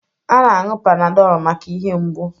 A na-aṅụ panadol maka ihe mgbụ.